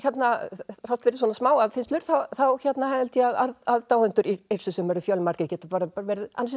þrátt fyrir svona smá aðfinnslur þá held ég að aðdáendur Yrsu sem eru fjölmargir geti verið ansi